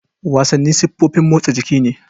Wasanni siffofin motsan jiki ne.